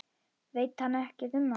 Veit ekkert um hana.